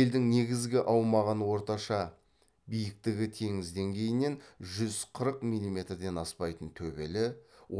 елдің негізгі аумағын орташа биіктігі теңіз деңгейінен жүз қырық миллиметрден аспайтын төбелі